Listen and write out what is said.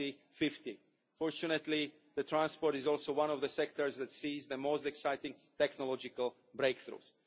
2050. Fortunately, transport is also one of the sectors that is seeing the most exciting technological breakthroughs.